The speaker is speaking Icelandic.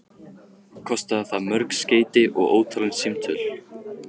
Kostaði það mörg skeyti og ótalin símtöl.